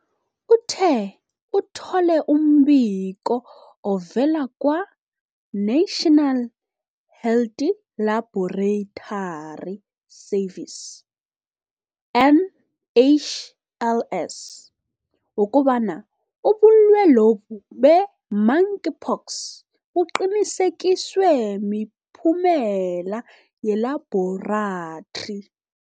Uthe, uthole umbiko ovela kwa-National Health Laboratory Services, NHLS, wokobana ubulwelobu be-monkeypox buqinisekiswe miphumela yeLabhorathri.